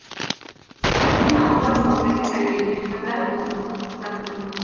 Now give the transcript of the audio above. мен аспаз наубайдың әйелімен қатар босанып қыз таптым